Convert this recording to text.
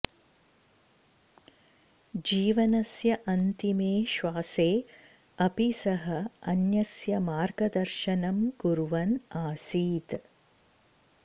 जीवनस्य अन्तिमे श्वासे अपि सः अन्यस्य मार्गदर्शनं कुर्वन् आसीत्